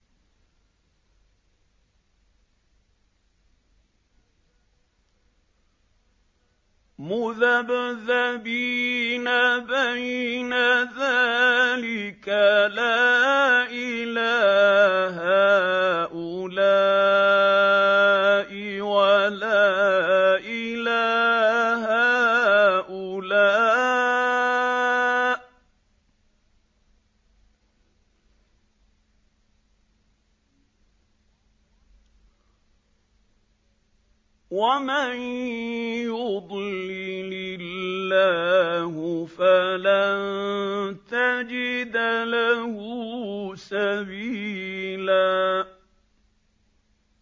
مُّذَبْذَبِينَ بَيْنَ ذَٰلِكَ لَا إِلَىٰ هَٰؤُلَاءِ وَلَا إِلَىٰ هَٰؤُلَاءِ ۚ وَمَن يُضْلِلِ اللَّهُ فَلَن تَجِدَ لَهُ سَبِيلًا